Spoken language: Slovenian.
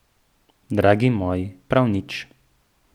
Dragi moji, prav nič.